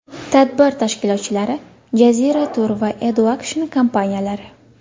Tadbir tashkilotchilari Jazira Tour va Edu Action kompaniyalari.